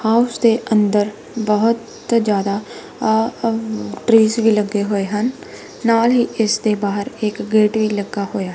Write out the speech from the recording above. House ਦੇ ਅੰਦਰ ਬੋਹਤ ਜਿਆਦਾ ਟ੍ਰੀਸ ਵੀ ਲੱਗੇ ਹੋਏ ਹਨ ਨਾਲ ਹੀ ਇੱਸ ਦੇ ਬਾਹਰ ਇੱਕ ਗੇਟ ਵੀ ਲੱਗਾ ਹੋਇਆ।